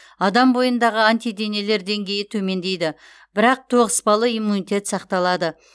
адам бойындағы антиденелер деңгейі төмендейді бірақ тоғыспалы иммунитет сақталады